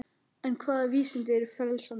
En hvaða vísindi eru frelsandi?